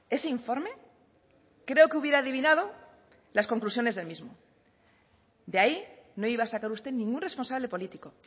ese informe creo que hubiera adivinado las conclusiones del mismo de ahí no iba a sacar usted ningún responsable político